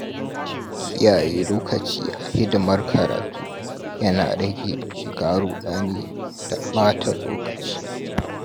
Kiyaye lokaci a hidimar karatu yana rage shiga rudani da ɓata lokaci.